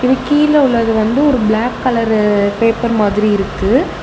இங்க கீழ உள்ளது வந்து ஒரு பிளாக் கலரு பேப்பர் மாதிரி இருக்கு.